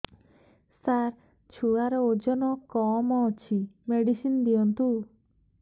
ସାର ଛୁଆର ଓଜନ କମ ଅଛି ମେଡିସିନ ଦିଅନ୍ତୁ